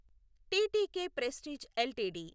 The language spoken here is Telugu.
TTK Prestige LTD